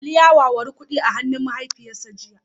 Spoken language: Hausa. Ali ya wawuri kudi a hannun mahaifiyarsa jiya